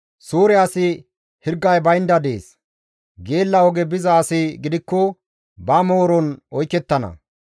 Suure asi hirgay baynda dees; geella oge biza asi gidikko ba mooron oykettana.